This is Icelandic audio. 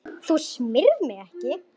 Þú smyrð mig ekki.